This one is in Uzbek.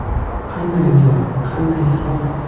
Qanday ajoyib, qanday soz!..